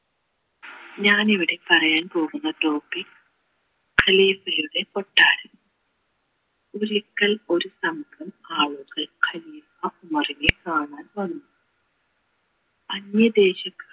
ഞാനിവിടെ പറയാൻ പോകുന്ന topic യുടെ കൊട്ടാരം ഒരിക്കൽ ഒരു സ്ഥലത്തു ആളുകൾ കാണാൻ വന്നു അന്യദേശത്ത്